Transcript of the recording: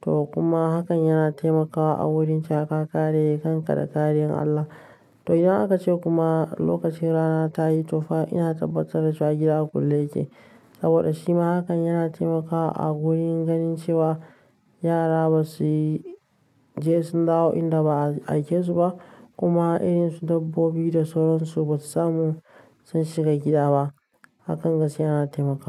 to kuma hakan yana taimakawa a wurin cewa ka kare kanka da kariyar allah To idan aka ce kuma lokacin rana ta yi tofa, ina tabbatar da shagira a kulle yake. Saboda shi ma hakan yana taimakawa a wurin ganin cewa yara ba su je sun dawo inda ba a aike su ba kuma irin su dabbobi da sauran su ba su samu sun shiga gida ba. Hakan gaskiya yana taimakawa.